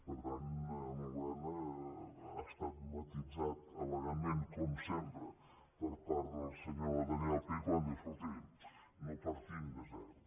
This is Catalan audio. per tant ha estat matisat elegantment com sempre per part del senyor daniel pi quan diu escolti no partim de zero